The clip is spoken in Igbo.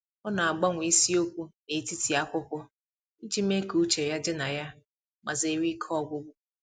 Ọ na-agbanwe isiokwu n'etiti akwụkwọ iji mee ka uche ya dị na ya ma zere ike ọgwụgwụ.